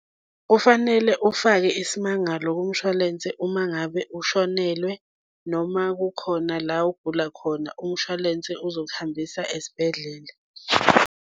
Kufanele ufake isimangalo kumshwalense uma ngabe ushonelwe, noma kukhona la ogula khona umshwalense ozokuhambisa esibhedlela.